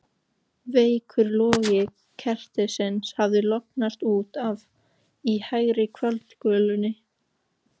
Veikur logi kertisins hafði lognast út af í hægri kvöldgolunni.